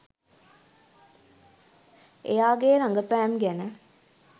එයාගේ රගපෑම් ගැන